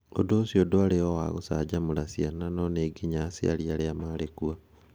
Ũndũ ũcio ndwarĩ o wa gũcanjamũra ciana no nĩ nginya aciari arĩa maarĩ kuo.